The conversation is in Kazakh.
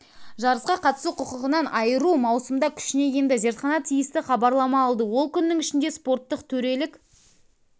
жарысқа қатысу құқығынан айыру маусымда күшіне енді зертхана тиісті хабарлама алды ол күннің ішінде спорттық төрелік